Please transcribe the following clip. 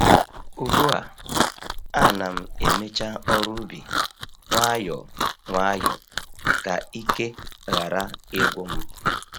Ugbu a, a na'm emecha ọrụ ubi nwayọ nwayọ ka ike ghara ịgwu m